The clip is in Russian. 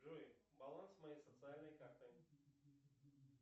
джой баланс моей социальной карты